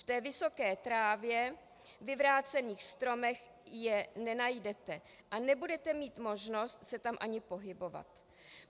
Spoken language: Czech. V té vysoké trávě, vyvrácených stromech je nenajdete a nebudete mít možnost se tam ani pohybovat.